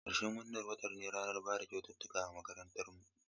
Ƙarshen wannan watan ne ranar bayar da kyaututtuka a makarantarmu.